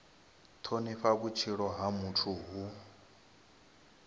thonifha vhutshilo ha muthu hu